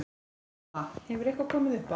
Hafa, hefur eitthvað komið upp á?